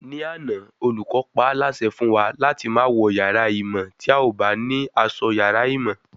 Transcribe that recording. Ní àná, olùkọ́ paálásẹ fún wa láti má wọ yàrá ìmọ̀ tí a ò bá ní asọ yàrá ìmọ̀